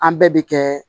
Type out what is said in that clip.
An bɛɛ bɛ kɛ